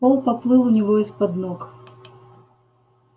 пол поплыл у него из-под ног